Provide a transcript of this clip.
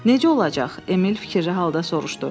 Necə olacaq, Emil fikircə halda soruşdu?